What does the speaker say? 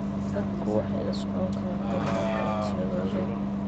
Dadku waxay la socon karaan horumarka codsiyadooda.